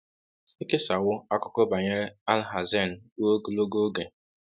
Ekesawo akụkọ banyere Alhazen ruo ogologo oge.